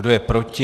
Kdo je proti?